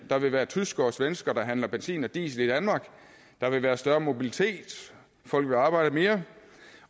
der vil være tyskere og svenskere der handler benzin og diesel i danmark der vil være større mobilitet folk vil arbejde mere